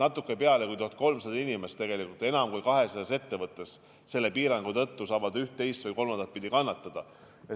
Natuke üle 1300 inimese enam kui 200 ettevõttes saab selle piirangu tõttu ühte, teist või kolmandat pidi kannatada.